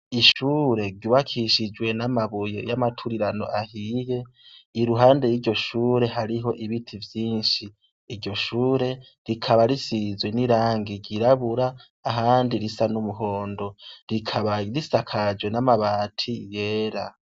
Ishure ryubakishijwe namabuye yamaturirano ahiye iruhande hari ibiti vyinshi iryo shure rikaba risizwe nirangi ryirabura ahandi risa numuhondo ahandi rika risakajwe amabati yera